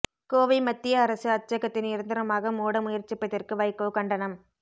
கோவை மத்திய அரசு அச்சகத்தை நிரந்தரமாக மூட முயற்சிப்பதற்கு வைகோ கண்டனம்